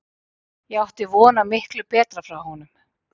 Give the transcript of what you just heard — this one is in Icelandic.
Ég átti von á miklu betra frá honum.